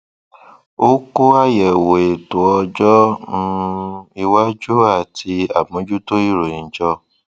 ó kó àyẹwò ètò ọjọ um iwájú àti àmójútó ìròyìn jọ